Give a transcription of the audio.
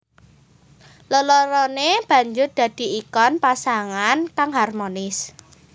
Lelorone banjur dadi ikon pasangan kang harmonis